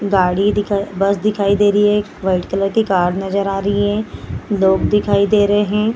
गाड़ी दिखाई बस दिखाइ दे रही है एक। वाईट कलर की कार नज़र आ रही है। लोग दिखाई दे रहे हैं।